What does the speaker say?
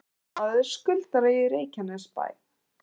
Umboðsmaður skuldara í Reykjanesbæ